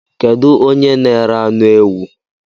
Kedu onye n:ere anụ ewụ?